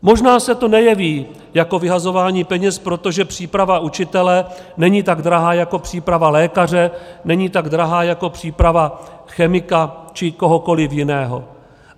Možná se to nejeví jako vyhazování peněz, protože příprava učitele není tak drahá jako příprava lékaře, není tak drahá jako příprava chemika či kohokoliv jiného.